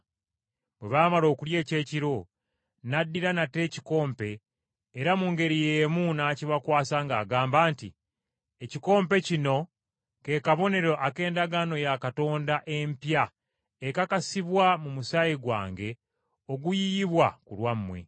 Bwe baamala okulya ekyekiro, n’addira nate ekikompe era mu ngeri y’emu n’akibakwasa ng’agamba nti, “Ekikompe kino ke kabonero ak’endagaano ya Katonda empya ekakasibwa mu musaayi gwange oguyiyibwa ku lwammwe.